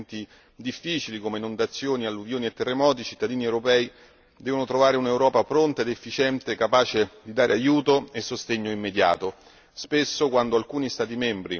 Pensiamo che anche e soprattutto in momenti difficili, come inondazioni, alluvioni e terremoti, i cittadini europei debbano trovare un'Europa pronta ed efficiente, capace di dare aiuto e sostegno immediato.